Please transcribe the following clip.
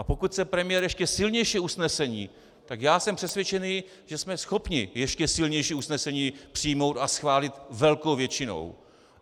A pokud chce premiér ještě silnější usnesení, tak já jsem přesvědčený, že jsme schopni ještě silnější usnesení přijmout a schválit velkou většinou.